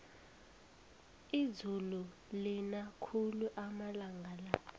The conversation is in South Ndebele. izulu lina khulu amalanga la